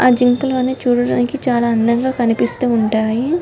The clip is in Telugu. ఆ జింకలను చూడడానికి చాలా అందంగా కనిపిస్తూ ఉంటాయి.